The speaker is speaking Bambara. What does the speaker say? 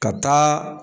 Ka taa